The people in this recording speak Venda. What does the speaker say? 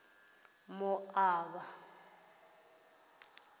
moaba